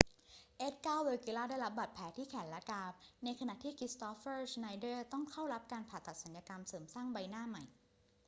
เอดการ์ เวกิลลาได้รับบาดแผลที่แขนและกราม ในขณะที่คริสตอฟเฟอร์ ชไนเดอร์ต้องเข้ารับการผ่าตัดศัลยกรรมเสริมสร้างใบหน้าใหม่